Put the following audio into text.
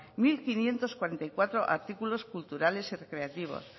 mil quinientos cuarenta y cuatro artículos culturales y recreativos